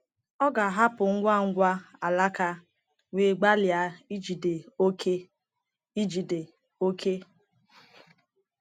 Ọ ga-ahapụ ngwa ngwa alaka wee gbalịa ijide òké. ijide òké.